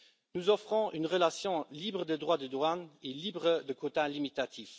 Nous offrons une relation libre de droits de douane et libre de quotas limitatifs.